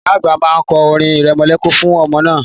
Ìyá àgbà má ń kọ́ orin irẹmọlẹ́kún fún ọmọ náà